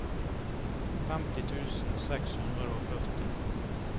femti tusen seks hundre og førti